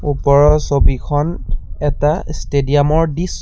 ওপৰৰ ছবিখন এটা ষ্টেডিয়াম ৰ দিছ--